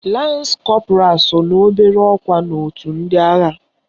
Lans Kọpụral so n'obere ọkwa n'otu ndị agha